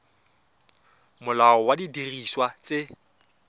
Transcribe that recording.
molao wa didiriswa tse di